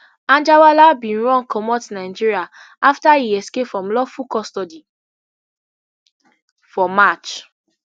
anjarwalla bin run comot nigeria afta e escape from lawful custody for march